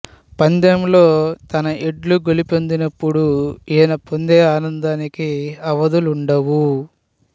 పందెంలో తన ఎడ్లు గెలుపొందినపుడు ఈయన పొందే ఆనందానికి అవధులుండవు